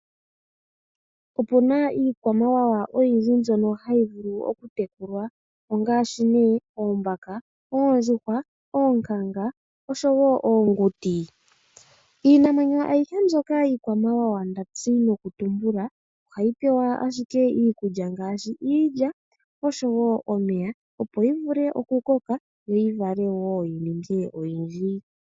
Opuna iikwamawawa oyindji mbyono hayi vulu okutekulwa ngaashi oombaka, oondjuhwa, oonyanga oshowoo oonguti. Iinamwenyo aihe mbyoka iikwamawawa ndazi nokutumbula ohayi pewa ashike iikulya ngaashi iilya oshowoo omeya opo yivule okukoka yo yivale yininge oyindji.